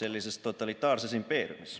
sellises totalitaarses impeeriumis.